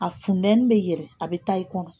A funteni bɛ yɛrɛ a bɛ taa i kɔnɔ.